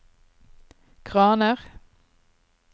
kraner